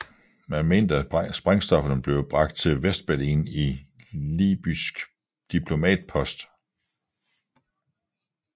Man mente at sprængstofferne blev bragt til Vestberlin i libysk diplomatpost